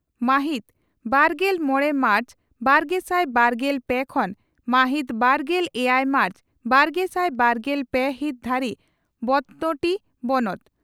ᱢᱟᱦᱤᱛ ᱵᱟᱨᱜᱮᱞ ᱢᱚᱲᱮ ᱢᱟᱨᱪ ᱵᱟᱨᱜᱮᱥᱟᱭ ᱵᱟᱨᱜᱮᱞ ᱯᱮ ᱠᱷᱚᱱ ᱢᱟᱦᱤᱛ ᱵᱟᱨᱜᱮᱞ ᱮᱭᱟᱭ ᱢᱟᱨᱪ ᱵᱟᱨᱜᱮᱥᱟᱭ ᱵᱟᱨᱜᱮᱞ ᱯᱮ ᱦᱤᱛ ᱫᱷᱟᱹᱨᱤᱡ ᱵᱮᱛᱱᱳᱴᱤ ᱵᱚᱱᱚᱛ